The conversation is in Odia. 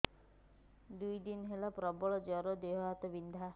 ଦୁଇ ଦିନ ହେଲା ପ୍ରବଳ ଜର ଦେହ ହାତ ବିନ୍ଧା